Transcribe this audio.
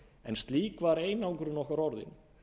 en slík var einangrun okkar orðin